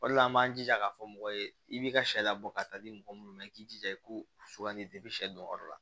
O de la an b'an jija k'a fɔ mɔgɔ ye i b'i ka sariya bɔ ka taa di mɔgɔ munnu ma i k'i jija i ko sugandi sɛ don yɔrɔ la